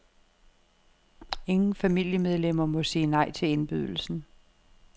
Ingen familiemedlemmer må sige nej til indbydelsen.